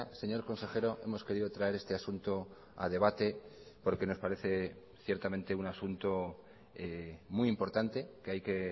señor consejero hemos querido traer este asunto a debate porque nos parece ciertamente un asunto muy importante que hay que